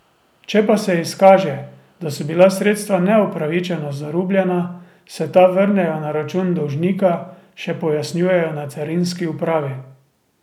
Če pa se izkaže, da so bila sredstva neupravičeno zarubljena, se ta vrnejo na račun dolžnika, še pojasnjujejo na carinski upravi.